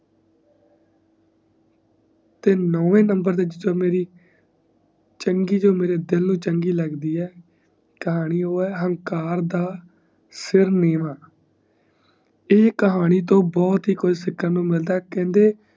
ਤੇ ਨੋਵੇ ਨੰਬਰ ਤੇ ਮੇਰੀ ਚੰਗੀ ਜੋ ਮੇਰੇ ਦਿਲ ਨੂੰ ਚੰਗੀ ਲੱਗਦੀ ਹੈ ਕਹਾਣੀ ਉਹ ਹੈ ਅਹੰਕਾਰ ਦਾ ਸਿਰ ਨੀਵਾਂ ਈ ਕਹਾਣੀ ਤੋਂ ਬਹੁਤ ਕੁਜ ਸਿੱਖਣ ਨੂੰ ਮਿਲਦਾ ਕਹਿੰਦੇ